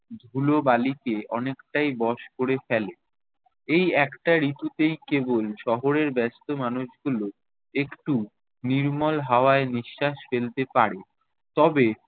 ধুলোবালিকে অনেকটাই বশ ক'রে ফেলে। এই একটা ঋতু তেই কেবল শহরের ব্যস্ত মানুষগুলো একটু নির্মল হাওয়ায় নিশ্বাস ফেলতে পারে। তবে